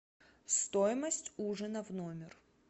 стоимость ужина в номер